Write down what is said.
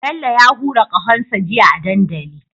Bello ya hura ƙahon sa jiya a dandali